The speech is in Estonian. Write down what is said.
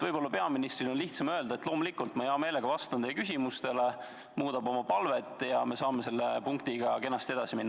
Võib-olla on peaministril lihtsam öelda, et loomulikult, ma hea meelega vastan teie küsimustele, ta muudab oma palvet ja me saame selle punktiga kenasti edasi minna.